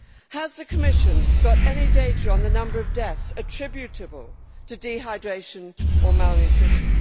Has the Commission got any data on the number of deaths attributable to dehydration or malnutrition?